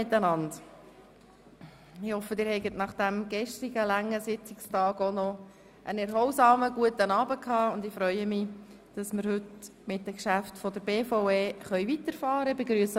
Ich hoffe, Sie haben nach dem gestrigen langen Sitzungstag einen erholsamen, guten Abend verbracht, und ich freue mich, dass wir heute mit den Geschäften der BVE weiterfahren können.